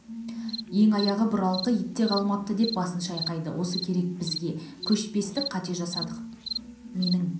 ең аяғы бұралқы ит те қалмапты деп басын шайқады осы керек бізге кешпестік қата жасадық менің